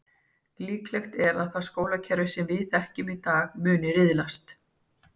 Líklegt er að það skólakerfi sem við þekkjum í dag muni riðlast.